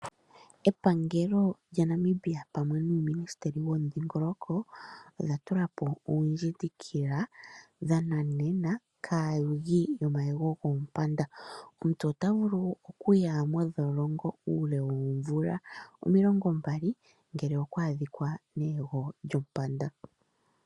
Epangelo lyaNamibia pamwe nuuministili womidhingoloko, oya tulapo oondjindikila dhananena kaayugo yomayego goompanda. Omuntu ota vulu okuya mondholongo uule woomvula omilongo mbali, ngele okwa adhika neyego lyompanda.